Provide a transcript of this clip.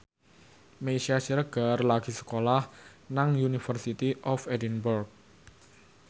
Meisya Siregar lagi sekolah nang University of Edinburgh